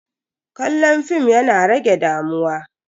Kallon fim yana rage damuwa.